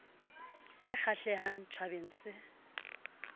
ke e kgahlehang tjhabeng se